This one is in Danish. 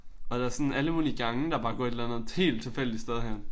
Og der er sådan alle mulige gange der bare går et eller andet helt tilfældigt sted hen